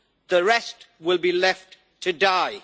The rest will be left to die.